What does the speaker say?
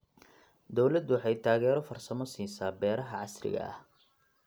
Dawladdu waxay taageero farsamo siisaa beeraha casriga ah.